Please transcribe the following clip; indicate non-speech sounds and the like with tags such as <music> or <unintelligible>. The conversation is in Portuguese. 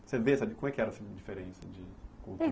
Você vê, sabe, como é que era essa diferença de <unintelligible>